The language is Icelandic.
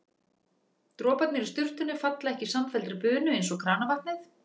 Droparnir í sturtunni falla ekki í samfelldri bunu eins og kranavatnið.